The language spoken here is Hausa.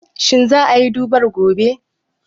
Shin za a yi durbar gobe?